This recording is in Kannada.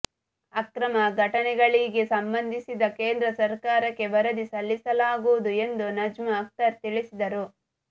ಅಕ್ರಮ ಘಟನೆಗಳಿಗೆ ಸಂಬಂಧಿಸಿದ ಕೇಂದ್ರ ಸರಕಾರಕ್ಕೆ ವರದಿ ಸಲ್ಲಿಸಲಾಗುವುದು ಎಂದು ನಜ್ಮಾ ಅಕ್ತರ್ ತಿಳಿಸಿದರು